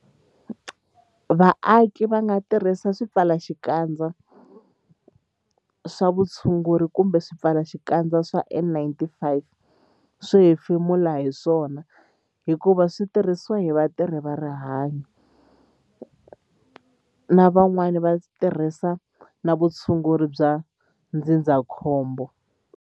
Vaaki va nga tirhisa swipfalaxikandza swa vutshunguri kumbe swipfalaxikandza swa N-95 swo hefemula hi swona hikuva leswi swi tirhisiwa hi vatirhi va rihanyo na van'wana vatirhi va vutshunguri bya ndzindzakhombo.